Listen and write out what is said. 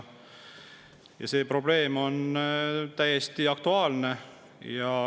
See probleem on täiesti aktuaalne.